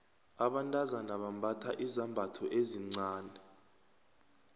abantazana bambatha izambatho ezincani